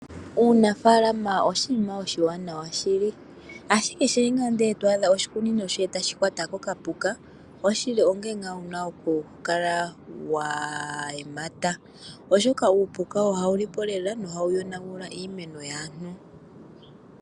Uunafaalama oshinima oshiwanawa shili ashike ngaa ndele to adha oshikunino shoye e tashi kwatwa kokapuka, onkene ngaa wuna oku kala wa yemata oshoka uupuka ohawu lipo lela nohawu yonagula iimeno yaantu.